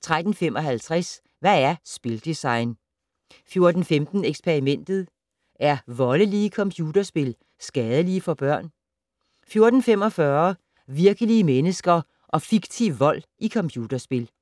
13:55: Hvad er spildesign? 14:15: Eksperimentet: Er voldelige computerspil skadelige for børn? 14:45: Virkelige mennesker og fiktiv vold i computerspil